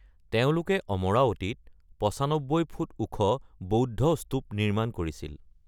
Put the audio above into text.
তেওঁলোকে অমৰাৱতীত ৯৫ ফুট ওখ বৌদ্ধ স্তূপ নিৰ্মাণ কৰিছিল।